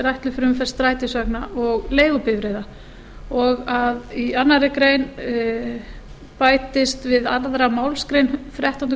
ætluð fyrir umferð strætisvagna og leigubifreiða í tvær greinar bætist við aðra málsgrein þrettándu